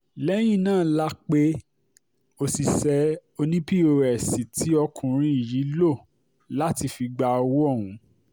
lẹ́yìn náà la pe òṣìṣẹ́ òní pọ́s tí ọkùnrin yìí lò láti fi gba owó ọ̀hún